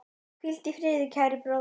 Hvíldu í friði, kæri bróðir.